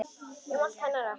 Um allt hennar og ekkert.